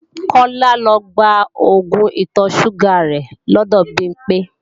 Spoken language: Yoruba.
Kọ́lá lọ gba oògùn ìtọ̀-ṣúgà rẹ̀ lọ́dọ̀ Bimpé